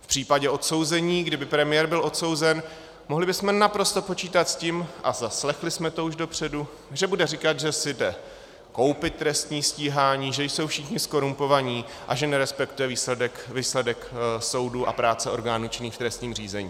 V případě odsouzení, kdyby premiér byl odsouzen, mohli bychom naprosto počítat s tím, a zaslechli jsme to už dopředu, že bude říkat, že si jde koupit trestní stíhání, že jsou všichni zkorumpovaní a že nerespektuje výsledek soudu a práce orgánů činných v trestním řízení.